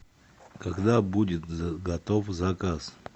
когда будет готов заказ